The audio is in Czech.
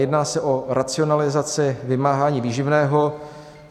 Jedná se o racionalizaci vymáhání výživného.